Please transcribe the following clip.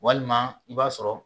Walima i b'a sɔrɔ